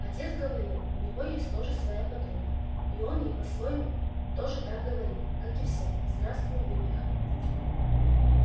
отец говорил у него есть тоже своя подруга и он ей по-своему тоже так говорит как и все здравствуй выпиха